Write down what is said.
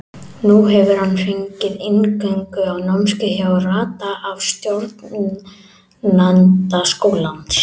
Nú hefur hann fengið inngöngu á námskeið hjá Rada af stjórnanda skólans.